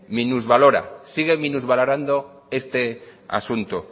minusvalora sigue minusvalorando este asunto